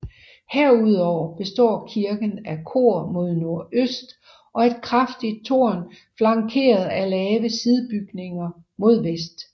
Herudover består kirken af kor mod nordøst og et kraftigt tårn flankeret af lave sidebygninger mod vest